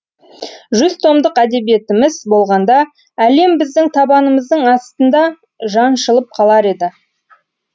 жүз томдық әдебиетіміз болғанда әлем біздің табанымыздың астында жаншылып қалар еді